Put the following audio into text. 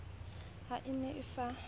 ha a ne a se